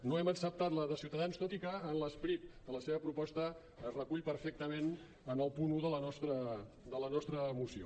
no hem acceptat la de ciutadans tot i que l’esperit de la seva proposta es recull perfectament en el punt un de la nostra moció